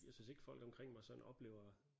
Jeg synes ikke folk omkring mig sådan oplever